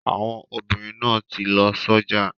Àwọn obìnrin náà ti lọ sọ́jà.